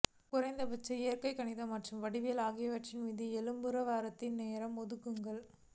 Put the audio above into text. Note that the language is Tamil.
குறைந்தபட்சம் இயற்கணிதம் மற்றும் வடிவியல் ஆகியவற்றின் மீது எலும்புப்பருவத்திற்கு நேரம் ஒதுக்குங்கள்